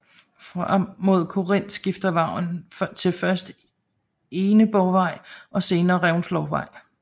Frem mod Korinth skifter vejen navn til først Egneborgvej og senere Reventlowsvej